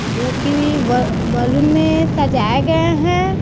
जोकि व बलुन में सजाया गए हैं।